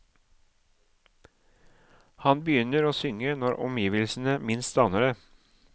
Han begynner å synge når omgivelsene minst aner det.